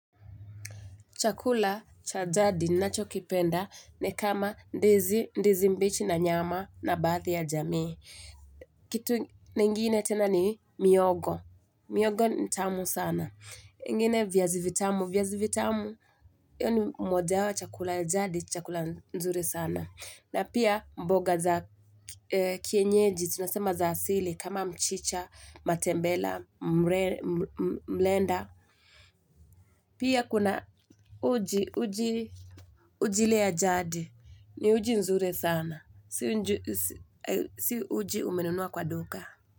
Chakula cha jadi ninachokipenda ni kama ndizi, ndizi mbichi na nyama na baadhi ya jamii. Kitu ingine tena ni mihogo. Mihogo ni tamu sana. Vingine viazi vitamu, viazi vitamu, yaani mmoja wa chakula ya jadi chakula nzuri sana. Na pia mboga za kienyeji, tunasema za asili kama mchicha, matembela, mlenda. Pia kuna uji uji uji ile ya jadi ni uji nzuri sana si uji umenunua kwa duka.